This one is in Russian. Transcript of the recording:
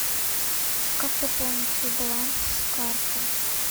как пополнить свой баланс с карты